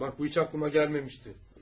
Bax bu heç ağlıma gəlməmişdi.